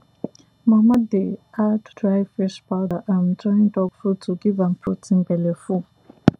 mama dey add dry fish powder um join dog food to give am protein belle full